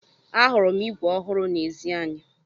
Ahụrụ m ígwè ọhụrụ n'ezi anyị.